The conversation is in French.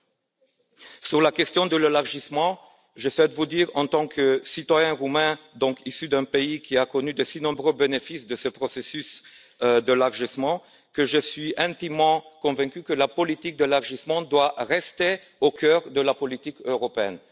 Pour ce qui est de la question de l'élargissement, je vous dirai, en tant que citoyen roumain, et donc issu d'un pays qui a connu de si nombreux bénéfices de ce processus d'élargissement, que je suis intimement convaincu que la politique d'élargissement doit rester au cœur de la politique européenne.